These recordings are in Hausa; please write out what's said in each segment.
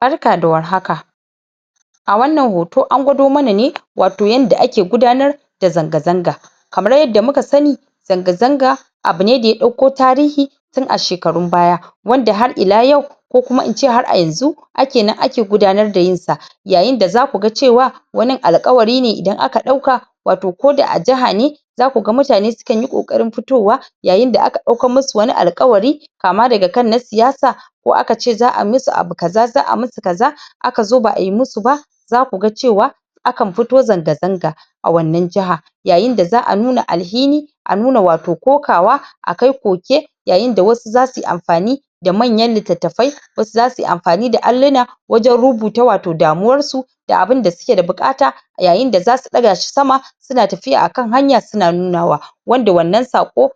barka da war haka a wannan hoto an gwado mana ne wato yanda ake gudanar da zanga zanga kamar yadda muka sani zanga zanga abune da ya dauko tarihi tun a shekarun baya wanda har ila yau ko kuma ince har a yanzu ake nan ake gudanar da yin sa yayin da zaku ga cewa wanin alkawari ne idan aka dauka wato ko da a jaha ne zaku ga mutane su kanyi koƙarin fitowa yayin da aka daukan musu wani alkawari kama daga kan na siyasa ko aka ce za'a musu abu kaza za'a musu kaza aka zo ba'ayi musu ba zaku ga cewa akan fito zanga zanga a wannan jaha yayin da za'a nuna alhini a nuna wato ƙokawa a kai ƙoke yain da wasu zasuyi amfani da manyan litttafai wasu zasu yi amfani da alluna wajen rubuta wato damuwar su da abunda suke da bukata a yayin da zasu ɗaga shi sama suna tafiya a kan hanya suna nuna wa wanda wannan sako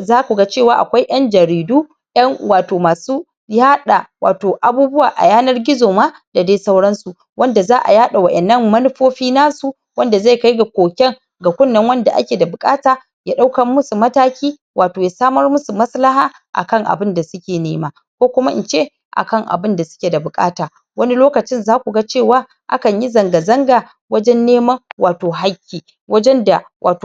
zaku ga cewa akwai en jaridu en wato masu yaɗa wato abubuwa a yanar gizo ma da dai sauran su wanda za'a yada wa'ennan manufofi nasu wanda zai kai ga ƙoken ga kunne wanda ake da bukata ya daukan musu mataki wato ya samar musu maslaha akan abun da suke nema ko kuma ince akan abun da suke da bukata wani lokacin zaku ga cewa akanyi zanga zanga wajen neman wato hakki wajen da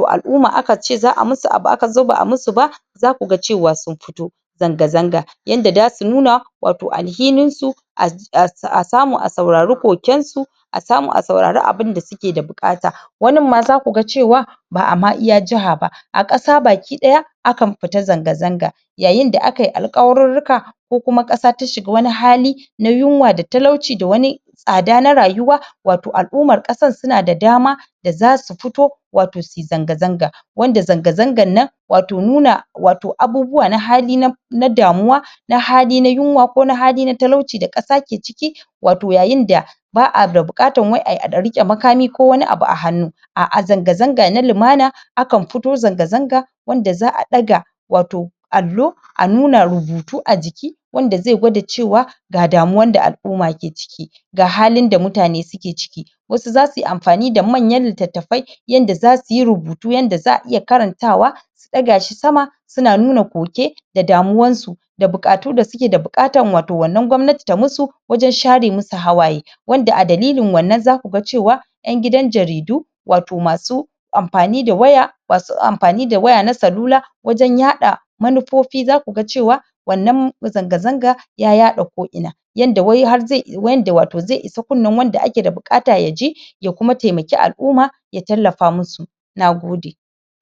al'umma aka ce za'a musu aka zo ba'a musu ba zaku ga cewa sun fito zanga zanga yanda zasu nun wato alhinin su a samu a sauraru ƙoken su a samu a sauraru abun da suke bukata wanin ma zaku ga cewa ba'a maiya jaha ba a kasa ma baki ɗaya akan fita zanga zanga yayi da akayi alkawarurruka ko kuma kasa sun shiga wani hali na yunwa da talauci da wani tsada na rayuwa wato al'ummar kasar suna da dama da zasu fito wato suyi zanga zanga wanda zanga zangan nan wato nuna wato nuna wato abubuwa na hali na na damuwa na hali na yunwa ko na hali na talauci da kasa ke ciki wato yayin da ba'a da bukatan da wai a dan rike makami ko wani abu a hannu a zanga zanga na limana akan fito zanga zanga wanda za'a daga wato allo a nuna rubutu a jiki wanda zai gwada cewa ga damuwa da al'umma ke ciki da halin da mutane suke ciki wasu zasuyi amfani da manyan littattafai yanda zasuyi rubutu yanda za'a iya karantawa su daga shi sama suna nuna ƙoke da damuwan su da bukatu da suke da bukata wato wannan gwamnati ta musu wajen share musu hawaye wanda a dalilin wannan zakuga cewa en gidan jaridu wato masu amfani da waya masu amfani da waya na celula wajan yaɗa manufofi za ku ga cewa wannan zanga zanga ya yaɗa ko ina yanada wai har zai yanda wato zai kunnin wanda ake da bukata yaji ya kuma taimaki al'umma ya tallafa musu nagode